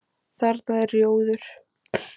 Þarna er rjóður.